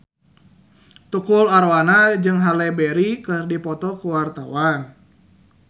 Tukul Arwana jeung Halle Berry keur dipoto ku wartawan